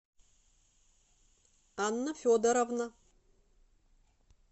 анна федоровна